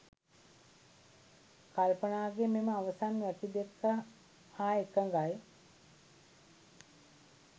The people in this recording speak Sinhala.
කල්පනාගේ මෙම අවසන් වැකි දෙක හා එකඟයි